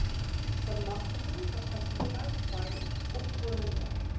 bemagtiging kapasiteitsbou opkomende